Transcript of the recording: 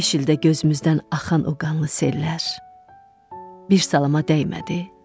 Beş ildə gözümüzdən axan o qanlı sellər bir salama dəymədi.